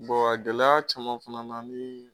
gɛlɛya caman fana na ni